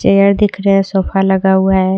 तो यह दिख रहा है सोफा लगा हुआ है।